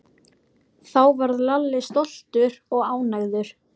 Þá varð Lalli stoltur og ánægður.